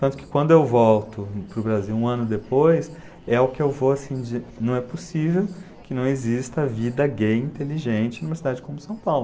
Tanto que quando eu volto para o Brasil um ano depois, é o que eu vou assim, de, não é possível que não exista vida gay inteligente numa cidade como São Paulo.